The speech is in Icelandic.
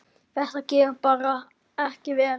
Þetta getur bara ekki verið.